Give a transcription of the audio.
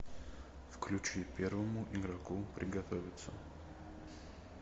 включи первому игроку приготовиться